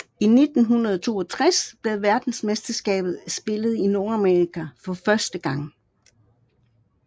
I 1962 blev verdensmesterskabet spillet i Nordamerika for første gang